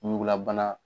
Ɲugulabana